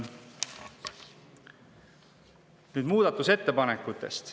Nüüd muudatusettepanekutest.